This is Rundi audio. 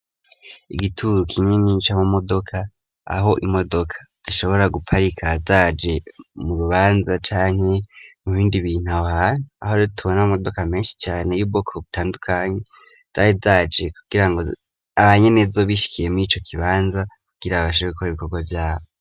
Igituro kinini cama modoka aho imodoka zishobora guparika zaje mu rubanza canke mu bindi bintu aho hantu aho tubona ama modoka meshi cane y'ubwoko butandukanye zari zaje kugira ngo abanyenezo bishikiye murico kibanza kugira babashe gukora ibikorwa vyabo.